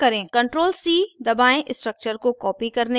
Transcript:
ctrl + c दबायें structure को copy करने के लिए